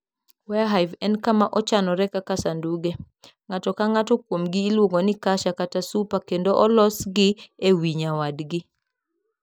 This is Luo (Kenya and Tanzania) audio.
Warre Hive en kama ochanore kaka sanduge. Ng'ato ka ng'ato kuomgi iluongo ni "kasha" kata "super" kendo olosgi e wi nyawadgi.